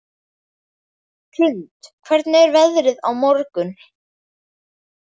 Hrund, hvernig er veðrið á morgun?